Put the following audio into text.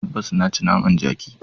Tabbas! Na ci naman daji.